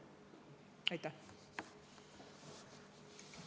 Aitäh!